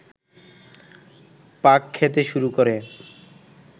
পাক খেতে শুরু করে